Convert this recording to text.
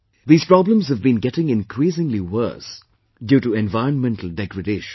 These problems have been getting increasingly worse due to environmental degradation